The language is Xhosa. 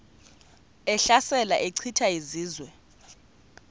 ehlasela echitha izizwe